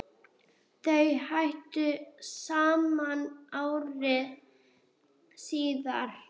Þau hættu saman ári síðar.